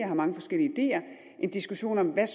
har mange forskellige ideer en diskussion om hvad